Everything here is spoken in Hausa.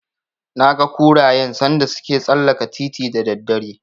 Naga kurayen sanda suke tsallaka titin da daddare.